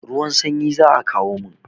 Ruwan sanyi za a kawo mun.